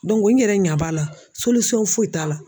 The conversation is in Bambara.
n yɛrɛ ɲɛ b'a la foyi t'a la.